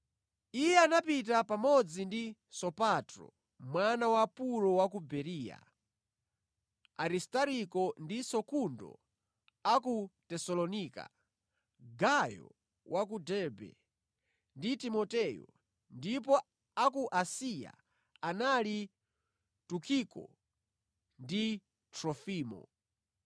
Iye anapita pamodzi ndi Sopatro mwana wa Puro wa ku Bereya, Aristariko ndi Sekundo a ku Tesalonika, Gayo wa ku Derbe ndi Timoteyo, ndipo a ku Asiya anali Tukiko ndi Trofimo.